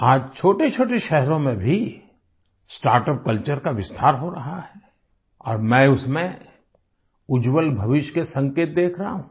आज छोटेछोटे शहरों में भी स्टार्टअप कल्चर का विस्तार हो रहा है और मैं उसमें उज्जवल भविष्य के संकेत देख रहा हूँ